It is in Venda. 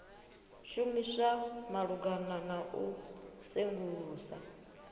shumiswa malugana na u sengulusa